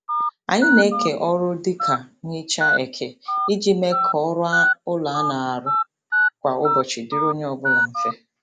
Anyị na-eke ọrụ dị ka nhicha eke iji mee ka ọrụ ụlọ a na-arụ kwa ụbọchị dịrị onye ọbụla mfe.